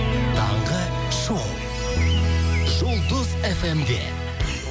таңғы шоу жұлдыз фм де